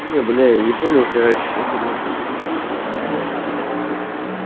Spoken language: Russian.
не бля я не понял короче с чем ты блять там плюсуешь не плюсуешь я тебе так скажу